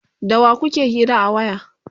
da wa kuke hira a waya?